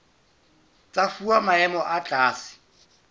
tsa fuwa maemo a tlase